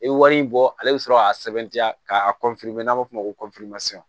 I wari in bɔ ale bɛ sɔrɔ k'a sɛbɛntiya k'a n'a b'a fɔ o ma ko